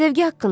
Sevgi haqqında.